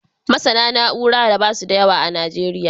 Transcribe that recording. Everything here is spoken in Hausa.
MasAna na'ura da basu da yawa a nigeria